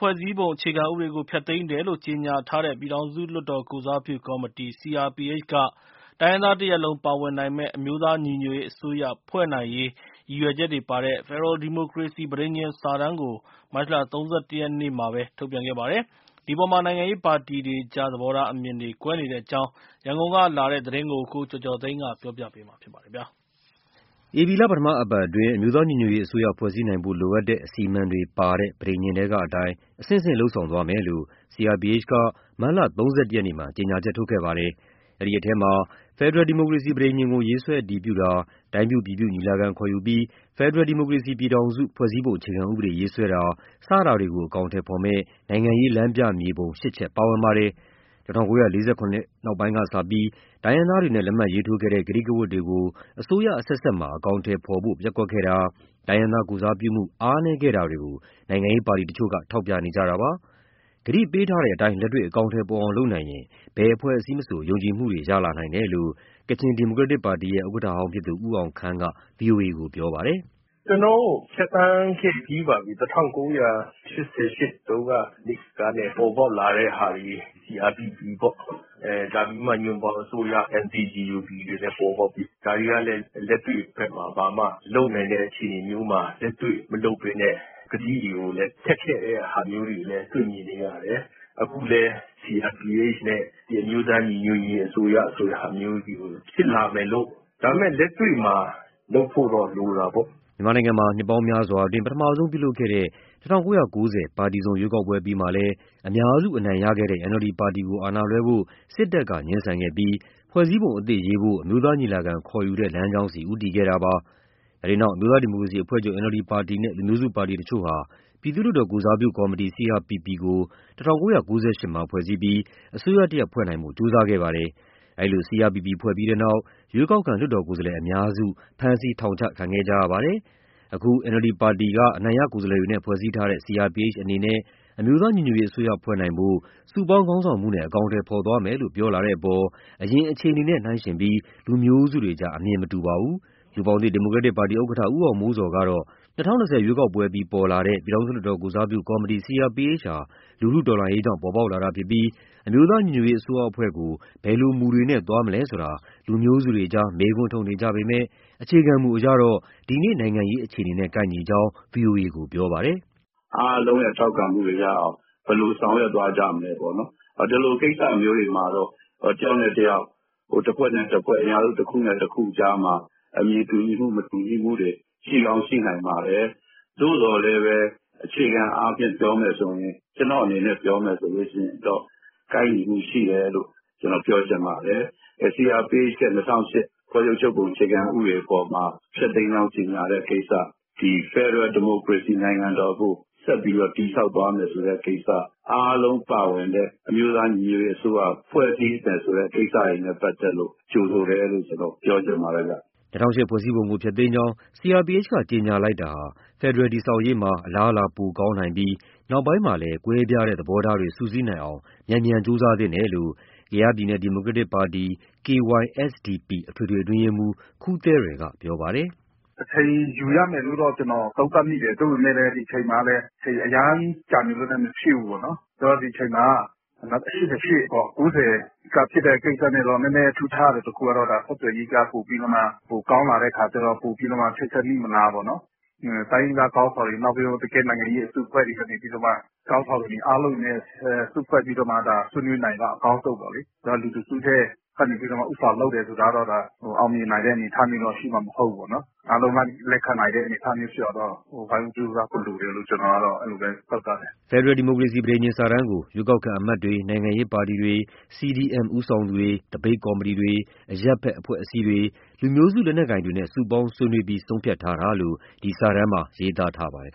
ဖွဲ့စည်းပုံ အခြေခံဥပဒေကို ဖျက်သိမ်းတယ်လို့ ကြေညာထားတဲ့ ပြည်ထောင်စုလွှတ်တော် ကိုယ်စားပြုကော်မတီ CRPH က တိုင်းရင်းသားတရပ်လုံး ပါဝင်နိုင်မယ့် အမျိုးသားညီညွတ်ရေး အစိုးရ ဖွဲ့နိုင်ရေး ရည်ချက်ချက်တွေပါတဲ့ ဖက်ဒရယ်ဒီမိုကရေစီ ပဋိညာဉ်စာတမ်းကို မတ်လ ၃၁ ရက်နေ့မှာပဲ ထုတ်ပြန်ခဲ့ပါတယ်။ ဒီအပေါ် နိုင်ငံရေးပါတီတွေကြား သဘောထား အမြင်တွေ ကွဲနေတဲ့အကြောင်း ရန်ကုန်ကလာတဲ့သတင်းကို ကိုကျော်ကျော်သိန်းကပြောပြပါမယ်။ အခု ဧပြီလ ပထမအပတ်အတွင်း အမျိုးသားညီညွတ်ရေးအစိုးရ ဖွဲ့စည်းနိုင်ဖို့ လိုအပ်တဲ့ အစီအမံတွေပါတဲ့ ပဋိညာဉ်ထဲကအတိုင်း အဆင့်ဆင့် လုပ်ဆောင်သွားမယ်လို့ CRPH က မတ်လ ၃၁ ရက်နေ့မှာ ကြေညာချက် ထုတ်ခဲ့ပါတယ်။ အဲဒီထဲမှာ ဖက်ဒရယ်ဒီမိုကရေစီ ပဋိညာဉ်ကို ရေးဆွဲအတည်ပြုတာ၊ တိုင်းပြုပြည်ပြု ညီလာခံခေါ်ယူပြီး ဖက်ဒရယ်ဒီမိုကရေစီပြည်ထောင်စု ဖွဲ့စည်းပုံအခြေခံဥပဒေရေးဆွဲတာ စတာတွေကို အကောင်အထည်ဖော်မယ့် နိုင်ငံရေးလမ်းပြမြေပုံ ၈ ချက်ပါဝင်ပါတယ်။ ၁၉၄၇ နောက်ပိုင်းကစပြီး တိုင်းရင်းသားတွေနဲ့ လက်မှတ်ရေးထိုးခဲ့တဲ့ ကတိကဝတ်တွေကို အစိုးရအဆက်ဆက်မှာ အကောင်အထည်ဖော်ဖို့ ပျက်ကွက်ခဲ့တာ၊ တိုင်းရင်းသား ကိုယ်စားပြုမှုတွေ အားနည်းခဲ့တာတွေကိုနိုင်ငံရေးပါတီတချို့က ထောက်ပြနေကြတာပါ။ ကတိပေးထားတဲ့အတိုင်း လက်တေ့ွ အကောင်အထည်ပေါ်အောင် လုပ်နိုင်ရင် ဘယ်အဖွဲ့အစည်းမဆို ယုံကြည်မှုတွေ ရလာနိုင်တယ်လို့ ကချင် ဒီမိုကရက်တစ်ပါတီရဲ့ ဥက္ကဋ္ဌဟောင်း ဖြစ်သူ ဦးအောင်ခမ်းက ဗွီအိုအေကို ပြောပါတယ်။ “ကျနော်တို့ ဖြတ်သန်းခဲ့ပြီးပါပြီ၊ ၁၉၈၈ တုန်းက လူထုကနေ ပေါ်ပေါက်လာတဲ့ဟာသည် CRPP ပေါ့၊ ဒါပြီးမှ ညွန့်ပေါင်းအစိုးရ NCGUB ပေါ်ပေါက်ပြီးပြီ။ ဒါတွေက လက်တွေ့ဘက်မှာ လုပ်နိုင်တဲ့ အခြေအနေမျိုးမှာ လက်တွေ့မလုပ်ဘဲနဲ့ ကတိတွေကိုလည်း ဖျက်ခဲ့တဲ့ ဟာမျိုးတွေကိုလည်း တွေ့မြင်နေရတယ်။ အခုလည်း CRPH နဲ့ အမျိုးသားညီညွတ်ရေး အစိုးရဆိုတဲ့ ဟာမျိုးတွေ ဖြစ်လာမယ်လို့….. ဒါပေမဲ့ လက်တွေ့မှာ လုပ်ဖို့တော့ လိုတာပေါ့။” မြန်မာနိုင်ငံမှာ နှစ်ပေါင်းများစွာအတွင်း ပထမဆုံးပြုလုပ်ခဲ့တဲ့ ၁၉၉၀ ပါတီစုံ ရွေးကောက်ပွဲအပြီးမှာလည်း အများစုအနိုင်ရခဲ့တဲ့ NLD ပါတီကို အာဏာလွှဲဖို့ စစ်တပ်က ငြင်းဆန်ခဲ့ပြီး ဖွဲ့စည်းပုံအသစ်ရေးဖို့ အမျိုးသားညီလာခံ ခေါ်ယူတဲ့ လမ်းကြောင်းဆီ ဦးတည်ခဲ့တာပါ။ အဲဒီနောက် အမျိုးသား ဒီမိုကရေစီအဖွဲ့ချုပ် NLD ပါတီနဲ့ လူမျိုးစုပါတီတချို့ဟာ ပြည်သူ့လွှတ်တော် ကိုယ်စားပြုကော်မတီ CRPP ကို ၁၉၉၈ မှာ ဖွဲ့စည်းပြီး အစိုးရတရပ် ဖွဲ့နိုင်ဖို့ ကြိုးစားခဲ့ပါတယ်။ အဲဒီလိုဖွဲ့ခဲ့ပြီးတဲ့နောက် ရွေးကောက်ခံ လွှတ်တော်ကိုယ်စားလှယ်အများစု ဖမ်းဆီးထောင်ချခံခဲ့ကြရပါတယ်။ အခု NLD ပါတီအနိုင်ရ ကိုယ်စားလှယ်တွေနဲ့ ဖွဲ့စည်းထားတဲ့ CRPH အနေနဲ့ အမျိုးသား ညီညွတ်ရေးအစိုးရ ဖွဲ့နိုင်ဖို့ စုပေါင်းခေါင်းဆောင်မှုနဲ့ အကောင်အထည်ဖော်သွားမယ်လို့ ပြောလာတဲ့အပေါ်မှာ အရင်အခြေအနေနဲ့ နှိုင်းယှဉ်ပြီး လူမျိုးစုတွေကြား အမြင်မတူတာ ရှိပါတယ်။ လူ့ဘောင်သစ်ဒီမိုကရက်တစ်ပါတီ ဥက္ကဋ္ဌ ဦးအောင်မိုးဇော်ကတော့ ၂၀၂၀ ရွေးကောက်ပွဲအပြီး ပေါ်လာတဲ့ ပြည်ထောင်စုလွှတ်တော် ကိုယ်စားပြုကော်မတီ CRPH ဟာ လူထုတော်လှန်ရေးကြောင့် ပေါ်ပေါက်လာတာဖြစ်ပြီး၊ အမျိုးသားညီညွတ်ရေး အစိုးရအဖွဲ့ကို ဘယ်လိုမူတွေနဲ့သွားမလဲဆိုတာ လူမျိုးစုတွေကြား မေးခွန်းထုတ်နေကြပေမဲ့ အခြေခံမူအရတော့ ဒီနေ့ နိုင်ငံရေး အခြေအနေနဲ့ ကိုက်ညီကြောင်း ဗွီအိုအေကို ပြောပါတယ်။ “အားလုံးရဲ့ ထောက်ခံမှုတွေရအောင် ဘယ်လိုဆောင်ရွက် သွားကြမလဲပေါ့။ ဒီလိုကိစ္စမျိုးတွေမှာတော့ တယောက်နဲ့တယောက် တဖွဲ့နဲ့တဖွဲ့ အင်အားစု တခုနဲ့တခုကြားမှာ အမြင်တူညီမှု၊ မတူညီမှု ရှိကောင်းရှိနိုင်မယ်၊ သို့သော် အခြေခံအားဖြင့်ပြောရင် ကျနော့အနေနဲ့ပြောရင် ကိုက်ညီမှုရှိပါတယ်။ CRPH ရဲ့ ၂၀၀၈ ဖွဲ့စည်းပုံအခြေခံဥပဒေအပေါ်မှာ ဖျက်သိမ်းကြောင်း ကြေညာတဲ့ကိစ္စ၊ ဖက်ဒရယ် ဒီမိုကရေစီ နိုင်ငံတော်ကို ဆက်ပြီးတည်ဆောက်သွားမယ်ဆိုတဲ့ ကိစ္စ၊ အားလုံးပါဝင်တဲ့ အမျိုးသား ညီညွတ်ရေးအစိုးရ ဖွဲ့စည်းမယ်ဆိုတဲ့ ကိစ္စတွေနဲ့ ပတ်သက်လို့ ကြိုဆိုတယ်လို့ ပြောချင်ပါတယ်။” ၂၀၀၈ ဖွဲ့စည်းပုံကို ဖျက်သိမ်းကြောင်း CRPH ကြေညာလိုက်တာဟာ ဖက်ဒရယ်တည်ဆောက်ရေးမှာ အလားအလာ ပိုကောင်းနိုင်ပြီး နောက်ပိုင်းမှာလည်း ကွဲပြားတဲ့ သဘောထားတွေ စုစည်းနိုင်အောင် မြန်မြန် ကြိုးစားသင့်တယ်လို့ ကယားပြည်နယ် ဒီမိုကရက်တစ်ပါတီ KySDP အထွေထွေ အတွင်းရေးမှူး ခူးသဲရယ် က ပြောပါတယ်။ “အချိန်ယူရမယ်လို့ ကျနော်သုံးသပ်မိတယ်၊ သို့သော် အချိန်အရမ်း ကြာနေလို့လည်း မဖြစ်ဘူးပေါ့နော်။ ဆိုတော့ ဒီအချိန်မှာ ၁၉၈၈၊ ၉၀ က ဖြစ်တဲ့ကိစ္စနဲ့တော့ နည်းနည်းထူးခြားတာ တခုကတော့ ဆက်သွယ်ရေးက ပိုပြီးတော့မှ ကောင်းလာတဲ့အခါကျတော့ ပိုပြီးမှ ချိတ်ဆက်မိမလားပေါ့။ တိုင်းရင်းသား ခေါင်းဆောင်တွေ၊ နိုင်ငံရေးအစုအဖွဲ့တွေ အားလုံးနဲ့ စုဖွဲ့ပြီး ဆွေးနွေးနိုင်ရင်တော့ အကောင်းဆုံးပေါ့လေ။ လူတစုက ဦးဆောင်လုပ်တာကတော့ အောင်မြင်နိုင်တဲ့ အနေအထား ရှိမှာမဟုတ်ဘူးပေါ့။ အားလုံးလက်ခံနိုင်တဲ့ အနေအထားကို ဝိုင်းဝန်းကြိုးစားဖို့ လိုတယ်လို့ သုံးသပ်တယ်။” ဖက်ဒရယ် ဒီမိုကရေစီ ပဋိညာဉ်စာတမ်းကို ရွေးကောက်ခံအမတ်တွေ၊ နိုင်ငံရေးပါတီတွေ၊ CDM ဦးဆောင်သူတွေ၊ သပိတ်ကော်မတီတွေ၊ အရပ်ဘက်အဖွဲ့အစည်းတွေ၊ လူမျိုးစု လက်နက်ကိုင်တွေနဲ့ စုပေါင်းဆွေးနွေးပြီး ဆုံးဖြတ်ထားတာလို့ ဒီစာတမ်းမှာ ရေးသားထားပါတယ်